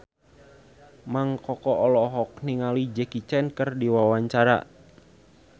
Mang Koko olohok ningali Jackie Chan keur diwawancara